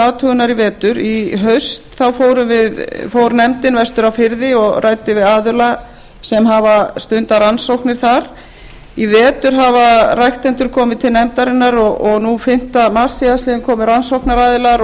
athugunar í vetur í fyrrahaust fór nefndin vestur á firði og ræddi við aðila sem hafa stundað þar rannsóknir í vetur hafa ræktendur komið til nefndarinnar og nú fimmta mars síðastliðinn komu rannsóknaraðilar og